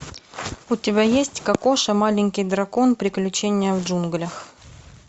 у тебя есть кокоша маленький дракон приключения в джунглях